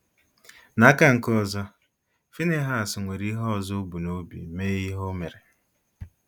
N'aka nke ọzọ, Finihas nwere ihe ọzọ o bu n'obi mee ihe o mere.